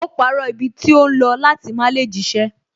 Ó parọ́ ibi tó ń lọ láti má lè jíṣẹ́